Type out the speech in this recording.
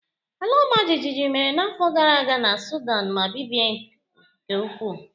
Ala ọmajiji mere n'afọ gara aga na Sudan ma bibie nke ukwuu